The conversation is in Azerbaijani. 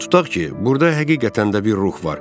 Tutaq ki, burda həqiqətən də bir ruh var.